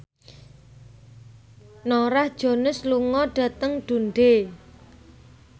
Norah Jones lunga dhateng Dundee